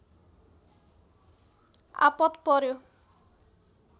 आपत पर्‍यो